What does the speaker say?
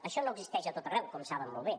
això no existeix a tot arreu com saben molt bé